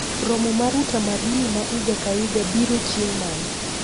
Romo mar tamduni ma iga ka iga bira chieng' mane